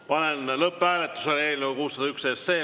Panen lõpphääletusele eelnõu 601.